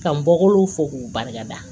Ka n bɔkolo fɔ k'u barika da